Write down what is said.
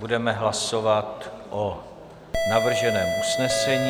Budeme hlasovat o navrženém usnesení.